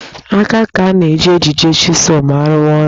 Aka ka a na-eji ejide jigsọọ ma a rụwa ọrụ